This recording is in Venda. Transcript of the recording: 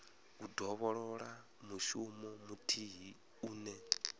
u dovholola mushumo muthihi une